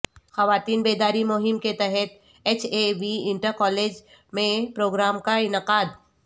خواتین بیداری مہم کے تحت H A V inter college میںپروگرام کا انعقاد